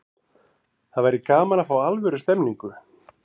Það væri gaman að fá alvöru stemningu.